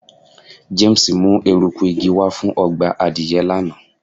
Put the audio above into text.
James mu eruku igi wa fun ọgbà adìye lana